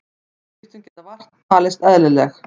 Viðskiptin geta vart talist eðlileg